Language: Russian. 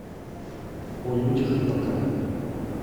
о людях и богах